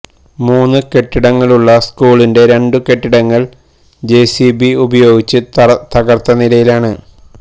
മുന്നു കെട്ടിടങ്ങളുള്ള സ്കൂളിന്റെ രണ്ടു കെട്ടിടങ്ങള് ജെസിബി ഉപയോഗിച്ച് തകര്ത്ത നിലയിലാണ്